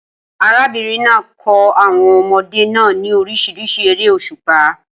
Arábìnrin náà kọ́ àwọn ọmọdé náà ní oríṣiríṣi eré òṣùpá